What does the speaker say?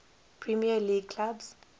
premier league clubs